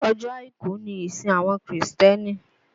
Ọjọ́ àìkú ni ìsìn àwọn kìrìsìtẹ́nì